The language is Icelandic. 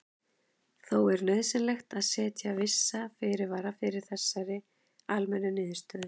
Þó er nauðsynlegt að setja vissa fyrirvara við þessari almennu niðurstöðu.